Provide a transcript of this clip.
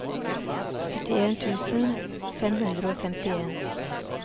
syttien tusen fem hundre og femtien